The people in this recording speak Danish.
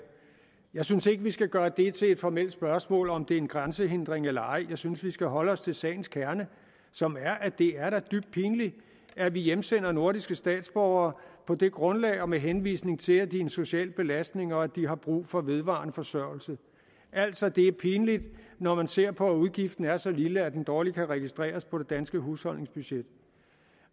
jeg synes ikke at vi skal gøre det til et formelt spørgsmål om om det er en grænsehindring eller ej jeg synes at vi skal holde os til sagens kerne som er at det da er dybt pinligt at vi hjemsender nordiske statsborgere på det grundlag og med henvisning til at de er en social belastning og at de har brug for vedvarende forsørgelse altså det er pinligt når man ser på at udgiften er så lille at den dårligt kan registreres på det danske husholdningsbudget